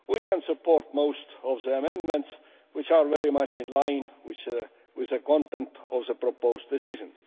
We can support most of the amendments, which are very much in line with the content of the proposed Decision.